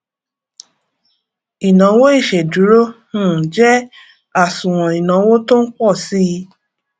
ìnawo ìsèdúró um jẹ àsùnwòn ìnáwó tó npọ síi